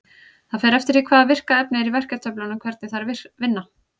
Það fer eftir því hvaða virka efni er í verkjatöflunum hvernig þær vinna.